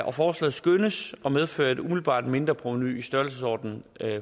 og forslaget skønnes at medføre et umiddelbart mindre provenu i størrelsesordenen